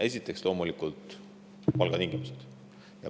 Esiteks, loomulikult palgatingimused.